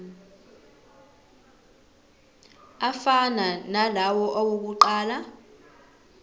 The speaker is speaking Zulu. afana nalawo awokuqala